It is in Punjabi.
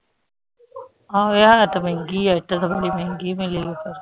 ਆਹੋ ਯਾਰ ਇੱਟ ਮਹਿੰਗੀ ਹੈ ਇੱਟ ਬੜੀ ਮਹਿੰਗੀ ਮਿਲੀ ਇੱਟ